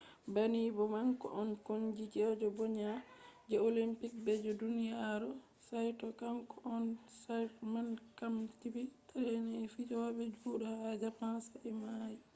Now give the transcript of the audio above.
banni bo kanko on koonikeejo ɓoima je olimpik be je duniyaaru saito kanko on chairman kwamiti trainin fijooɓe judo ha japan sa'i o maayi